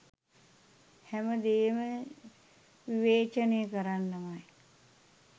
හැම දේම විවේචනය කරන්නමයි.